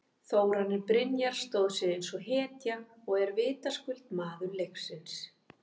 Þórarinn Brynjar stóð sig eins og hetja og er vitaskuld maður leiksins.